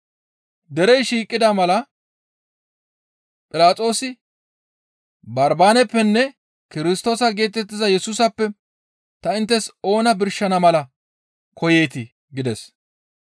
Derey shiiqida mala Philaxoosi, «Barbaaneppenne Kirstoosa geetettiza Yesusappe ta inttes oona birshana mala koyeetii?» gides.